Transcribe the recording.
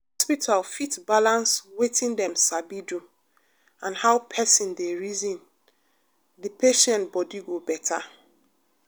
if hospital fit balance wetin dem sabi do and how people dey reason dey patient body go better.